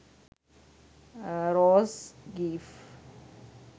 rose gif